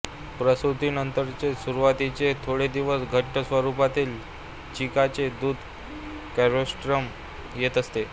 प्रसूतीनंतरचे सुरवातीचे थोडे दिवस घट्ट स्वरूपातील चीकाचे दूध कोलोस्ट्रम येत असते